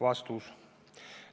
" Vastus.